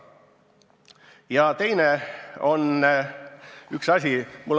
Ja veel üks asi.